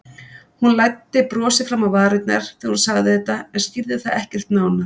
Hún læddi brosi fram á varirnar þegar hún sagði þetta en skýrði það ekkert nánar.